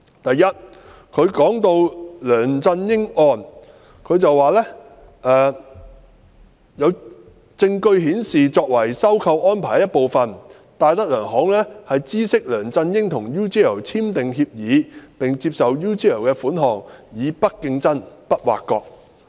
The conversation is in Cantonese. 第一，提到梁振英案時，律政司指"所有證據顯示，作為收購安排的一部分，戴德梁行知悉梁振英與 UGL 簽訂協議並接受 UGL 的款項以'不作競爭、不作挖角'。